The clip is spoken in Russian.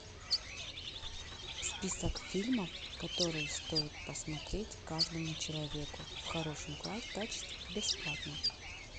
список фильмов которые стоит посмотреть каждому человеку в хорошем качестве бесплатно